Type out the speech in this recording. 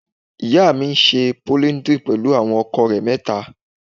Ìyá mi ńṣe polidri pẹlú àwọn ọkọ rẹ mẹta.